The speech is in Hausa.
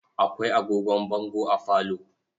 Akwai agogon bango a falo.